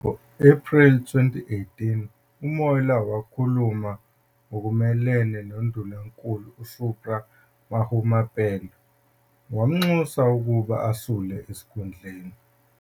Ngo-Ephreli 2018, uMoiloa wakhuluma ngokumelene noNdunankulu uSupra Mahumapelo wamnxusa ukuba asule esikhundleni.